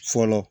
Fɔlɔ